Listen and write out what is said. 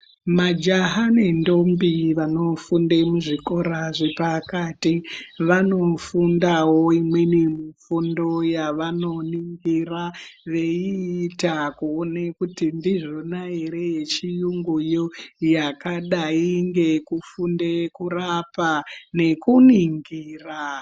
Majaha nendombi vanofunde muzvikora zvepakati, vanofundawo, imweni mifundo yavanoningira veiita kuone kuti ndizvona ere, yechiyunguyo yakadai ngekufunde kurapa, ngekuningira.